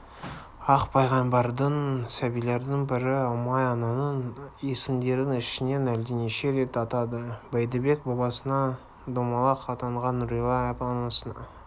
ақ пайғамбардың сәбилердің пірі ұмай-ананың есімдерін ішінен әлденеше рет атады бәйдібек бабасына домалақ атанған нұрилә анасына